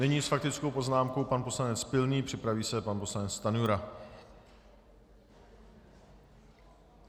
Nyní s faktickou poznámkou pan poslanec Pilný, připraví se pan poslanec Stanjura.